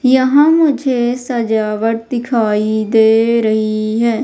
यहाँ मुझे सजावट दिखाई दे रही है।